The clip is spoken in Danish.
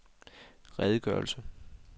redegørelse